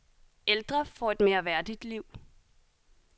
Ældre får et mere værdigt liv.